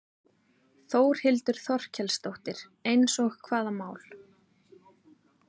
Þórhildur Þorkelsdóttir: Eins og hvaða mál?